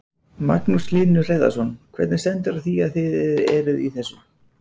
Magnús Hlynur Hreiðarsson: Hvernig stendur á því að þið eruð í þessu?